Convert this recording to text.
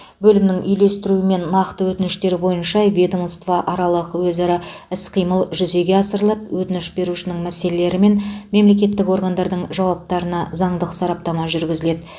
бөлімнің үйлестіруімен нақты өтініштер бойынша ведомство аралық өзара іс қимыл жүзеге асырылып өтініш берушінің мәселелері мен мемлекеттік органдардың жауаптарына заңдық сараптама жүргізіледі